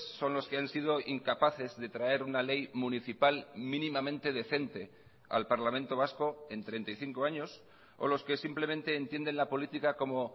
son los que han sido incapaces de traer una ley municipal mínimamente decente al parlamento vasco en treinta y cinco años o los que simplemente entienden la política como